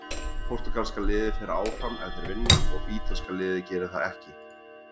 Portúgalska liðið fer áfram ef þeir vinna og ítalska liðið gerir það ekki.